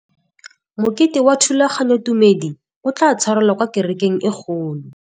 Mokete wa thulaganyôtumêdi o tla tshwarelwa kwa kerekeng e kgolo.